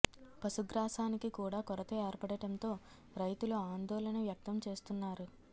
పశుగ్రాసానికి కూడా కొరత ఏర్పడటంతో రైతులు ఆందోళన వ్యక్తం చేస్తున్నారు